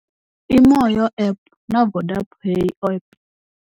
I Moya App na Vodapay app.